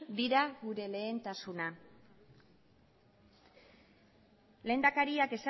dira gure lehentasuna lehendakariak